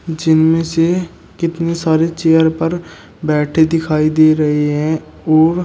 जिनमें से कितने सारे चेयर पर बैठे दिखाई दे रही है और--